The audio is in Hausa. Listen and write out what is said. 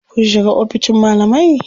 Kun shiga oficin malamai?